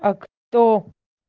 а кто